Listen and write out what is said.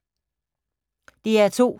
DR2